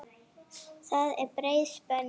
Það er breið spönn.